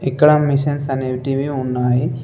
ఇక్కడ మిషన్స్ అనేటివి ఉన్నాయి.